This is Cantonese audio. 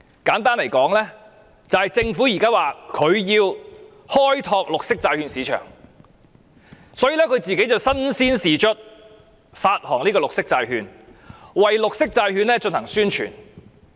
簡單而言，政府現在說為了開拓綠色債券市場，它自己便身先士卒，發行綠色債券，為綠色債券進行宣傳。